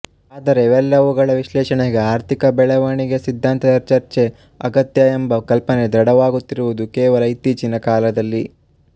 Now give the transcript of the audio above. ಆದರೆ ಇವೆಲ್ಲವುಗಳ ವಿಶ್ಲೇಷಣೆಗೆ ಆರ್ಥಿಕ ಬೆಳೆವಣಿಗೆಯ ಸಿದ್ಧಾಂತದ ಚರ್ಚೆ ಅಗತ್ಯ ಎಂಬ ಕಲ್ಪನೆ ದೃಢವಾಗುತ್ತಿರುವುದು ಕೇವಲ ಇತ್ತೀಚಿನ ಕಾಲದಲ್ಲಿ